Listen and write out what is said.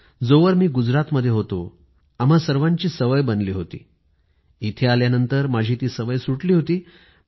जोवर मी गुजरातमध्ये होतो आम्हा सर्वांची सवय बनली होती मात्र इथे आल्यानंतर माझी ती सवय सुटली होती